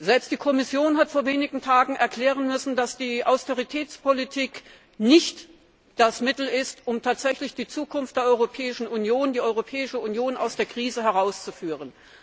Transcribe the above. Selbst die Kommission hat vor wenigen Tage erklären müssen, dass die Austeritätspolitik nicht das Mittel ist, um tatsächlich die Zukunft der Europäischen Union zu sichern, die Europäische Union aus der Krise herauszuführen.